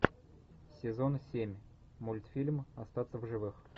сезон семь мультфильм остаться в живых